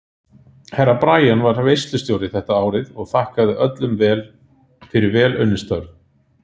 Herra Brian var veislustjóri þetta árið og þakkaði öllum fyrir vel unnin störf.